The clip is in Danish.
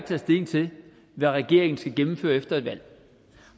taget stilling til hvad regeringen skal gennemføre efter et valg